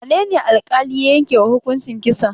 Wane ne alƙali ya yanke wa hukuncin kisa?